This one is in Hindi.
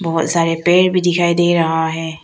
बहुत सारे पेड़ भी दिखाई दे रहा है।